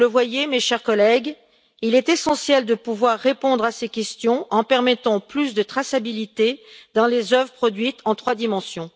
Vous le voyez, mes chers collègues, il est essentiel de pouvoir répondre à ces questions en permettant plus de traçabilité dans les œuvres produites en trois dimensions.